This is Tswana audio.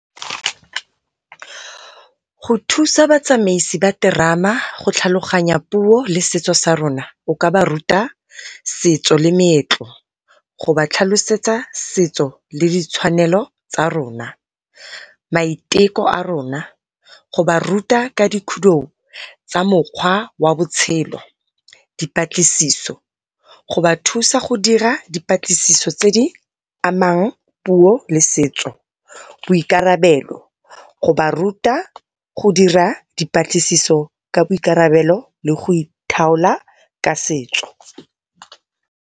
Go thusa batsamaisi ba terama go tlhaloganya puo le setso sa rona o ka ba ruta, setso le meetlo go ba tlhalosetsa setso le ditshwanelo tsa rona, maiteko a rona go baruta ka di khudou tsa mokgwa wa botshelo. Dipatlisiso, go ba thusa go dira di patlisiso tse di amang puo le setso. Boikarabelo, go ba ruta go dira dipatlisiso ka boikarabelo le go ithaola ka setso.